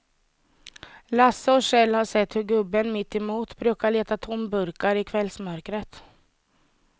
Lasse och Kjell har sett hur gubben mittemot brukar leta tomburkar i kvällsmörkret.